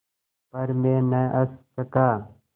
पर मैं न हँस सका